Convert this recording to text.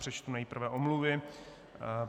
Přečtu nejprve omluvy.